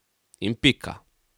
In pika.